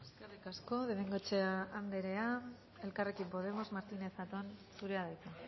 eskerrik asko de bengoechea anderea elkarrekin podemos martínez zatón zurea da hitza